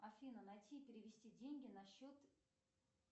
афина найти и перевести деньги на счет